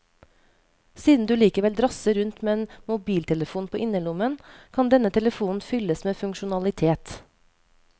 Siden du likevel drasser rundt med en mobiltelefon på innerlommen, kan denne telefonen fylles med funksjonalitet.